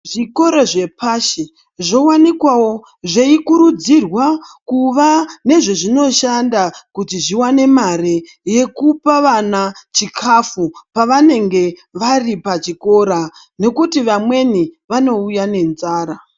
Zvikora zvepashi zvovaniikwavo zveikurudzirwa kuva nezvezvinoshanda kuti zvivane mare yekupa vana chikafu. Pavanenge vari pachikora nokuti vamweni vanouya nenzara.